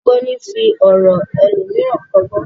Ọlọ́gbọ́n ni í fi ọ̀ràn elòmíràn kọ́gbọ́n